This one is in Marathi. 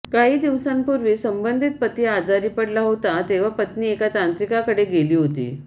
काही दिवसांपूर्वी संबंधित पती आजारी पडला होता तेव्हा पत्नी एका तांत्रिकाकडे केली होती